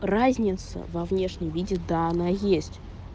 разница во внешнем виде да она есть